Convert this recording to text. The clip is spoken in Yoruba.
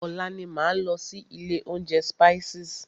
Ọ̀la ni máa lọ sí ilé oúnjẹ Spices.